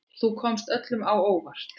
Þú komst öllum á óvart.